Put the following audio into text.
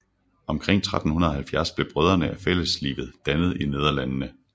Omkring 1370 blev Brødrene af Fælleslivet dannet i Nederlandene